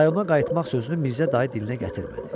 Rayona qayıtmaq sözünü Mirzə dayı dilinə gətirmədi.